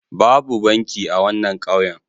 Babu banki a wannan ƙauyen.